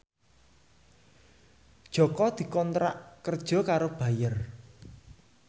Jaka dikontrak kerja karo Bayer